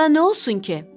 Bunda nə olsun ki?